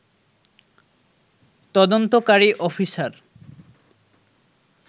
তদন্তকারী অফিসার